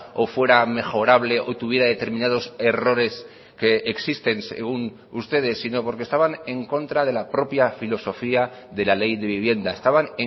o fuera mejorable o tuviera determinados errores que existen según ustedes sino porque estaban en contra de la propia filosofía de la ley de vivienda estaban